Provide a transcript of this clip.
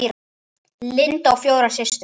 Linda á fjórar systur.